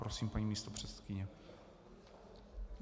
Prosím, paní místopředsedkyně.